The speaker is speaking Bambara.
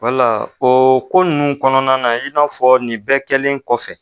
Wala o ko ninnu kɔnɔna na i n'a fɔ nin bɛɛ kɛlen kɔfɛ.